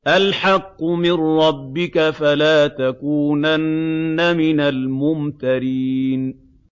الْحَقُّ مِن رَّبِّكَ ۖ فَلَا تَكُونَنَّ مِنَ الْمُمْتَرِينَ